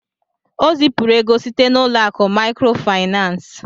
O zipuru ego site n'ụlọ akụ maịkrofaịnans.